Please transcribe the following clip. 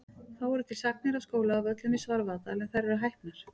Þá eru til sagnir af skóla að Völlum í Svarfaðardal en þær eru hæpnar.